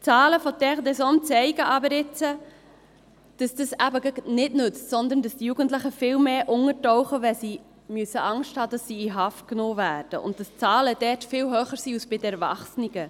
Die Zahlen von «Terre des hommes» zeigen aber jetzt, dass dies eben gerade nichts nützt, sondern dass die Jugendlichen viel mehr untertauchen, wenn sie Angst haben müssen, dass sie in Haft genommen werden, und dass die Zahlen dort sehr viel höher sind als bei den Erwachsenen.